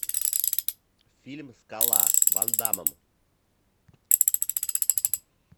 фильм скала с ван даммом